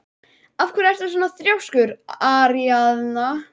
Af hverju ertu svona þrjóskur, Aríaðna?